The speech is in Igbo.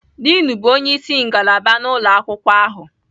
Diin bụ onye isi ngalaba na ụlọ akwụkwọ ahụ